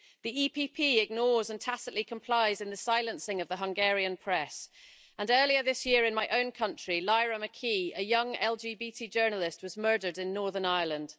The EPP ignores and tacitly complies in the silencing of the Hungarian press and earlier this year in my own country, Lyra Mckee, a young LGBT journalist, was murdered in Northern Ireland.